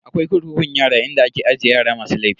Akwai kurkukun yara inda ake aje yara masu laifi.